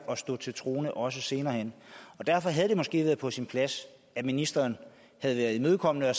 at stå til troende også senere hen og derfor havde det måske været på sin plads at ministeren havde været imødekommende og